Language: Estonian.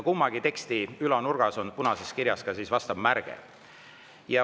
Mõlema teksti ülanurgas on punases kirjas ka vastav märge.